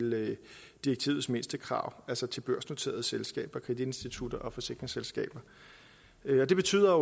direktivets mindstekrav altså til børsnoterede selskaber kreditinstitutter og forsikringsselskaber det betyder